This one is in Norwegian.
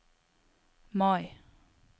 Mai